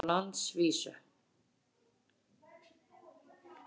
Besti flokkurinn á landsvísu